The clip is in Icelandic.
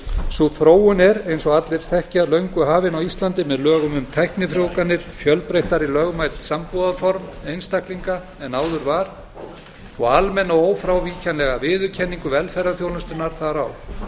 sú þróun er eins og allir þekkja löngu hafin á íslandi með lögum um tæknifrjóvganir fjölbreyttari lögmæt sambúðarform einstaklinga en áður var og almenna og ófrávíkjanlega viðurkenningu velferðarþjónustunnar þar á